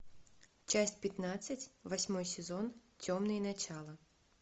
часть пятнадцать восьмой сезон темные начала